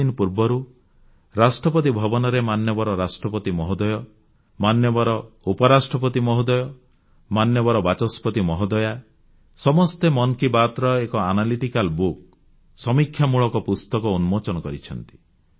ଦୁଇଦିନ ପୂର୍ବରୁ ରାଷ୍ଟ୍ରପତି ଭବନରେ ରାଷ୍ଟ୍ରପତି ମହୋଦୟ ଉପରାଷ୍ଟ୍ରପତି ମହୋଦୟ ବାଚସ୍ପତି ମହୋଦୟା ସମସ୍ତେ ମନ୍ କି ବାତ୍ ର ଏକ ସମୀକ୍ଷା ପୁସ୍ତକ ଆନାଲିଟିକାଲ ବୁକ୍ ଉନ୍ମୋଚନ କରିଛନ୍ତି